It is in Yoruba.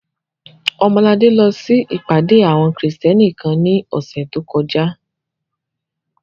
Ọmọladé lọ sí ìpàdé àwọn Krìstẹ́nì kan ní ọ̀sẹ̀ tó kọjá